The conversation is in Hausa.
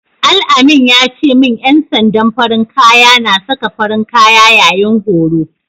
Al-amin ya ce min ƴan sandan farin kaya na saka farin kaya yayin horo.